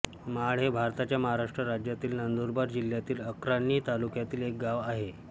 माळ हे भारताच्या महाराष्ट्र राज्यातील नंदुरबार जिल्ह्यातील अक्राणी तालुक्यातील एक गाव आहे